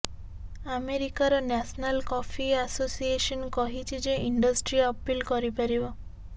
ଆମେରିକାର national coffee association କହିଛି ଯେ ଇଣ୍ଡଷ୍ଟ୍ରି ଅପିଲ କରିପାରିବ